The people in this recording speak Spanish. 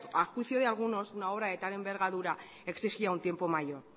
a juicio de algunos una obra de tal envergadura exigía un tiempo mayor